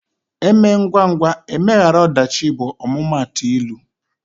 E mee ngwangwa emeghara ọdachi bụ ọmụmaatụ ilu.